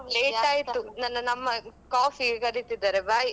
Late ಆಯ್ತು. ನನ್ನನ್ನು ಅಮ್ಮ coffee ಗೆ ಕರೀತಿದ್ದಾರೆ bye .